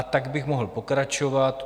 A tak bych mohl pokračovat.